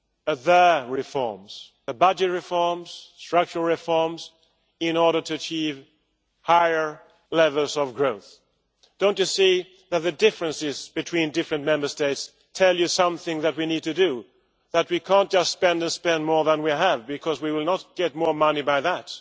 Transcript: at the reforms budget reforms and structural reforms in order to achieve higher levels of growth? Don't you see that the differences between different Member States tell you something that we need to do, that we cannot just spend and spend more than we have because we will not get more money by that?